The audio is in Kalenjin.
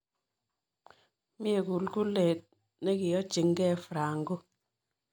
Myee! googleen chekiyochiig'eei franco